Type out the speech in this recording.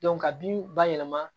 ka binw bayɛlɛma